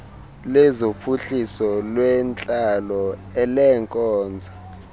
lezophuhliso lwentlalo elezeenkonzo